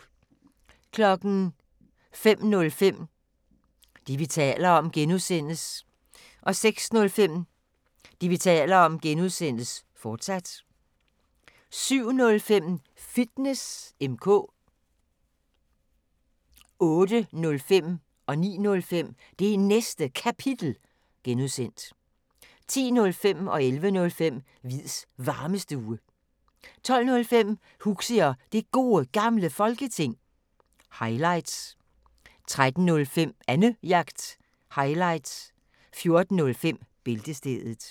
05:05: Det, vi taler om (G) 06:05: Det, vi taler om (G), fortsat 07:05: Fitness M/K 08:05: Det Næste Kapitel (G) 09:05: Det Næste Kapitel (G) 10:05: Hviids Varmestue 11:05: Hviids Varmestue 12:05: Huxi og Det Gode Gamle Folketing – highlights 13:05: Annejagt – highlights 14:05: Bæltestedet